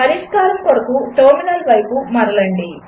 పరిష్కారం కొరకు టెర్మినల్ వైపు మరలండి